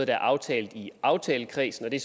er aftalt i aftalekredsen og det